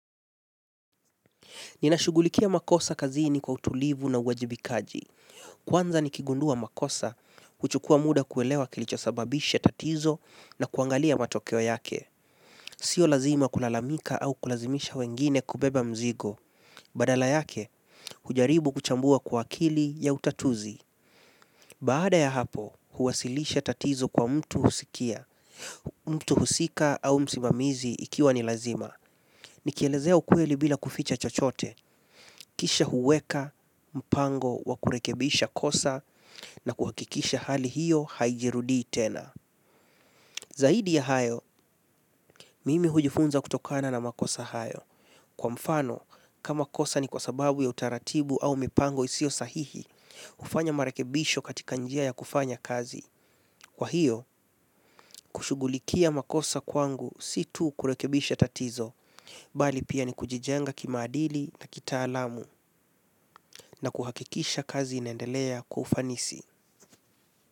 Ninashugulikia makosa kazini kwa utulivu na uwajibikaji. Kwanza nikigundua makosa, huchukua muda kuelewa kilichosababisha tatizo na kuangalia matokeo yake. Sio lazima kulalamika au kulazimisha wengine kubeba mzigo. Badala yake, hujaribu kuchambua kwa akili ya utatuzi. Baada ya hapo, huwasilisha tatizo kwa mtu husikia. Mtu husika au msimamizi ikiwa ni lazima. Nikielezea ukweli bila kuficha chochote, kisha huweka, mpango wa kurekebisha kosa na kuhakikisha hali hiyo haijirudii tena. Zaidi ya hayo, mimi hujifunza kutokana na makosa hayo. Kwa mfano, kama kosa ni kwa sababu ya utaratibu au mipango isio sahihi, hufanya marekebisho katika njia ya kufanya kazi. Kwa hiyo, kushugulikia makosa kwangu si tu kurekebisha tatizo, bali pia ni kujijenga kimaadili na kitaalamu na kuhakikisha kazi inendelea kwa ufanisi.